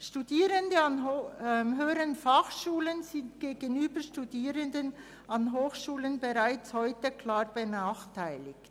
Studierende an der Hotelfachschule Thun sind gegenüber Studierenden an Hochschulen bereits heute klar benachteiligt.